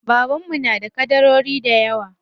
Baban mu na da ƙadarori dayawa.